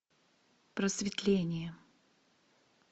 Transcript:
просветление